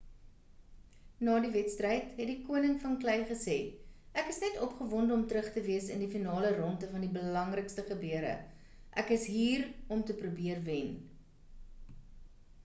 na die wedstryd het die koning van klei gesê ek is net opgewonde om terug te wees in die finale rondte van die belangrikste gebeure ek is hier om te probeer wen